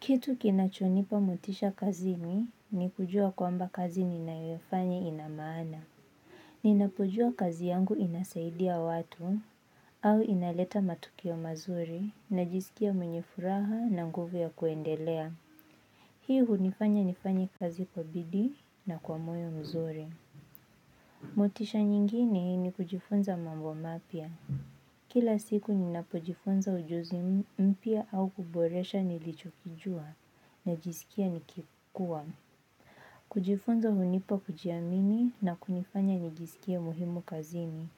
Kitu kinachonipa motisha kazini ni kujua kwamba kazi ninayofanya ina maana. Ninapojua kazi yangu inasaidia watu, au inaleta matukio mazuri najisikia mwenye furaha na nguvu ya kuendelea. Hii hunifanya nifanye kazi kwa bidii na kwa moyo mzuri. Motisha nyingine ni kujifunza mambo mapya. Kila siku ni napojifunza ujuzi mpya au kuboresha nilichokijua najisikia nikikua. Kujifunza hunipa kujiamini na kunifanya nijisikie muhimu kazini.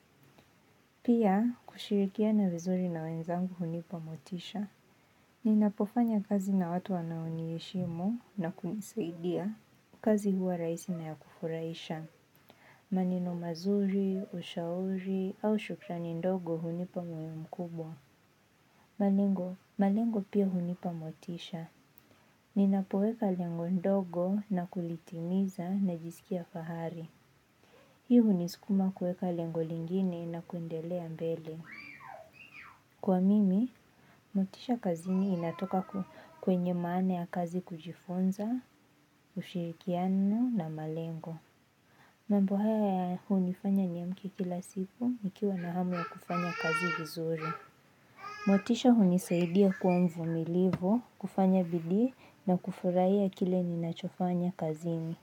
Pia, kushirikia na vizuri na wenzangu hunipa motisha. Ninapofanya kazi na watu wanaoniheshimu na kunisaidia, kazi huwa rahisi na ya kufurahisha. Maneno mazuri, ushauri au shukrani ndogo hunipa moyo mkubwa. Malengo, malengo pia hunipa motisha. Ninapoweka lengo ndogo na kulitimiza najisikia fahari. Hii hunisikuma kuweka lengo lingine na kuendelea mbele. Kwangu, motisha kazini inatoka kwenye maana ya kazi kujifunza, ushirikiano na malengo. Mambo haya hunifanya niamke kila siku nikiwa na hamu ya kufanya kazi vizuri. Motisha hunisaidia kuwa mvumilivu, kufanya bidii na kufurahia kile ninachofanya kazini.